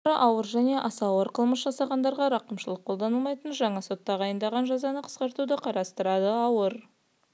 бұрындары ауыр және аса ауыр қылмыс жасағандарға рақымшылық қолданылдмайтын жаңа сот тағайындаған жазаны қысқартуды қарастырады ауыр